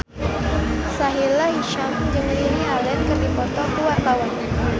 Sahila Hisyam jeung Lily Allen keur dipoto ku wartawan